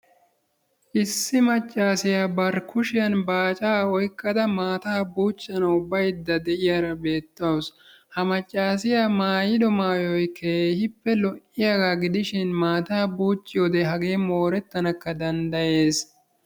Issi maccasiyaa bari kushiyan baacaa oyqqada maataa buuccanawu baydda de'iyara betawusu. Ha maccasiya maayidi maayoy keehippe lo''iyagaa gidishin maataa buucciyode hagee moorettanakka danddayees.